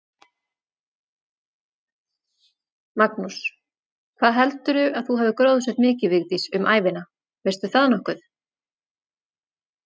Magnús: Hvað heldurðu að þú hafir gróðursett mikið, Vigdís, um ævina, veistu það nokkuð?